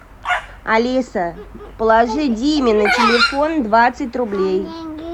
алиса положи диме на телефон двадцать рублей